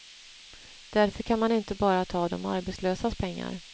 Därför kan man inte bara ta de arbetslösas pengar.